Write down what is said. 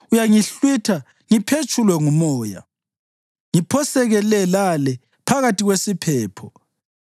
Uyangihlwitha ngiphetshulwe ngumoya; ngiphoseke le lale phakathi kwesiphepho.